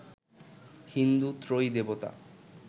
হিন্দু ত্রয়ী দেবতা